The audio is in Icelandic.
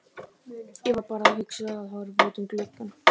Ég var bara að hugsa og horfa út um gluggann.